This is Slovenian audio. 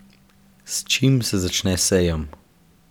S čim se začne sejem?